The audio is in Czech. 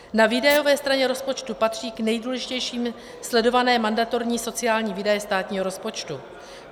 Na výdajové straně rozpočtu patří k nejdůležitějším sledované mandatorní sociální výdaje státního rozpočtu.